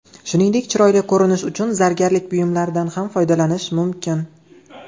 Shuningdek, chiroyli ko‘rinish uchun zargarlik buyumlaridan ham foydalanish mumkin.